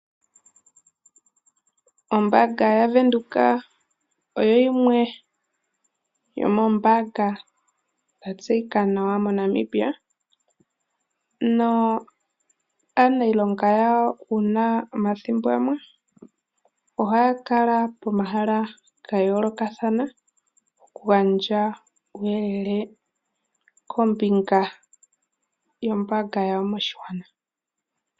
Ombanga yaVenduka oyo yimwe yomoombanga dhatseyika nawa moNamibia naanilonga yawo ohaakala pomahala gayooloka, okugandja uuyelele wunasha nombaanga yawo moshingwana.